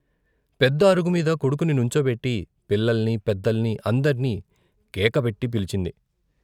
పెద్ద అరుగుమీద కొడుకుని నుంచో పెట్టి పిల్లల్ని పెద్దల్ని అందర్ని కేక పెట్టి పిలిచింది.